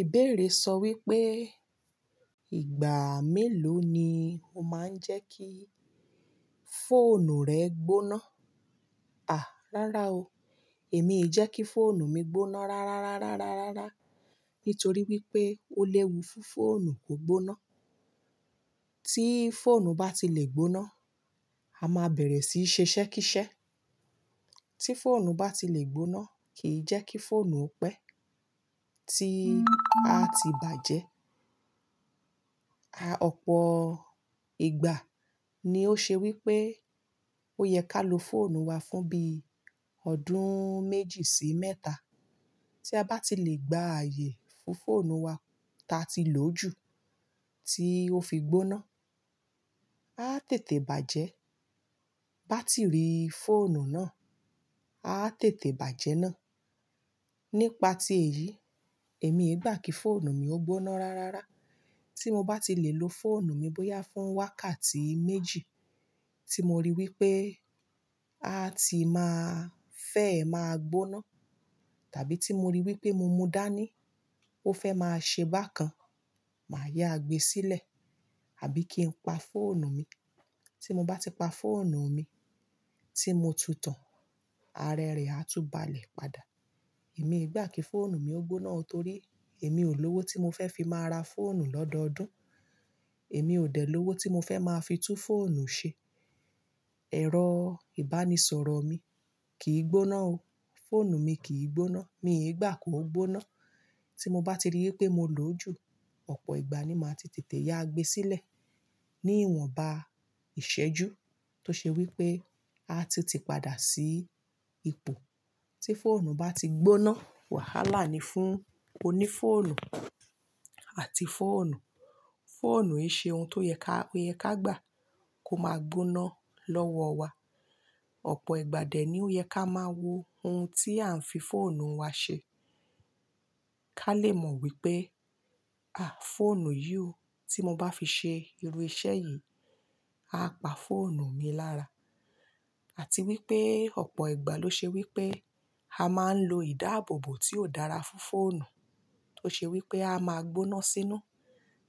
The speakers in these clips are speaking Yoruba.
Ìbéèrè sọ wípé ìgbà mélòó ni ó máa ń jẹ́ kí fóònù rẹ gbóná? À, rárá o. Èmi ì jẹ́ kí fóònù mi gbóná rárá, rárá, rárá, rárá. Nítorí wípé ó léwu fún fóònù kó gbóná. Tí fóònù bá ti lè gbóná, a máa bẹ̀rẹ̀ síí ṣe ṣẹ́ kísẹ́. Tí fóònù bá ti lè gbóná, kìí jẹ́ kí fóònù ó pẹ́, tí a ti bàjẹ́. A ò pọ̀ ìgbà ni ó ṣe wípé ó yẹ ká lo fóònù wa fún bí ọdún méjì sí méta. Tí a bá ti lè gba ààyè fún fóònù wa táa ti lò jú tí ó fi gbóná, a tètè bàjẹ́. Báátìrì fóònù náà a tètè bàjẹ́ náà. Nípa ti èyí, èmi ì gbà kí fóònù mi ó gbóná rárá. Tí mo bá ti lè lo fóònù mi bóyá fún wákàtí méjì tí mo rí wípé a ti máa fẹ́ máa gbóná, tàbí tí mo rí wípé mo mú dání ó fẹ́ máa ṣe bákan, màá yá gbe sílẹ̀, àbí kí n pa fóònù mi. Tí mo bá ti pa fóònù mi tí mo tutàn, ara rẹ̀ á túbàlẹ̀ padà. Èmi ì gbà kí fóònù mi ó gbóná torí èmi ò lówó tí mo fẹ́ fi máa ra fóònù lọ́dọọdún. Èmi ò dẹ̀ lówó tí mo fẹ́ máa fi tún fóònù ṣe. Ẹ̀rọ ìbánisọ̀rọ̀ mi kìí gbóná o. Fóònù mi kìí gbóná, mi ì gbà kó gbóná. Tí mo bá ti rí wípé mo lò ó jù, ọ̀pọ̀ ìgbà ni màá ti tètè yá gbe sílẹ̀. Ní ìwọ̀nba ìṣẹ́jú tó ṣe wípé a tun ti padà sí ipò tí fóònù bá ti gbóná, wàhálà ni fún oní fóònù àti fóònù. Fóònù ń ṣe ohun tó yẹ ká, yẹ ká gbà kó máa gbóná lọ́wọ́ wa. Ọ̀pọ̀ ìgbà dẹ̀ ni ó yẹ ká máa wo ohun tí à ń fi fóònù wa ṣe. Ká lè mọ wípé, à, fóònù yìí ò, tí mo bá fi ṣe irú iṣẹ́ yìí, a pa fóònù mi lára. Àti wípé ọ̀pọ̀ ìgbà ló ṣe wípé a máa ń lo ìdáàbòbò tí ò dára fún fóònù, tó ṣe wípé a máa gbóná sínú.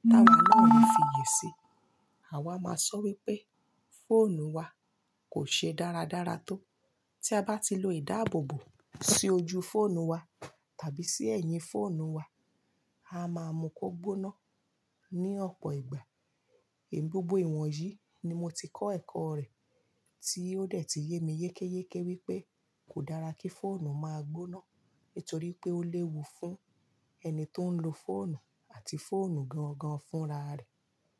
Táwà naa o ni fi yè si, àwa máa sọ wípé fóònù wa kò ṣe dáradára tó. Tí a bá ti lo ìdáàbòbò sí ojú fóònù wa tàbí sí ẹ̀yìn fóònù wa, a máa mú kó gbóná ní ọ̀pọ̀ ìgbà. Gbogbò ìwọ̀n yìí ni mo ti kọ́ ẹ̀kọ́ rẹ̀, tí ó dẹ̀ ti yé mi yékéyéké wípé kò dára kí fóònù máa gbóná nítorí pé ó léwu fún ẹni tó ń lo fóònù àti fóònù gan-gan fúnra rẹ̀.